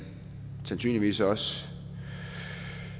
sandsynligvis også